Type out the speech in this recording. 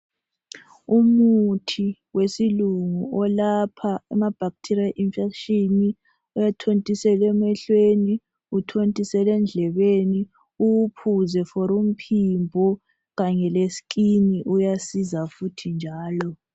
umuthi wesilungu olapha ama bacteria infections uyathontiselwa emehlweni uthontiselwe endlebeni uwuphuze for umphimbo kanye le skin uyasiza futhi njalo